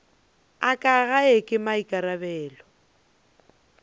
a ka gae ke maikarabelo